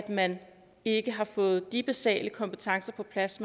man ikke har fået de basale kompetencer på plads